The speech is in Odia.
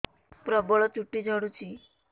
ପ୍ରବଳ ଚୁଟି ଝଡୁଛି